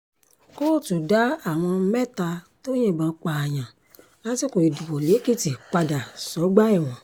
kóòtù dá àwọn mẹ́ta tó yìnbọn pààyàn lásìkò ìdìbò lẹ́kìtì padà sọ́gbà ẹ̀wọ̀n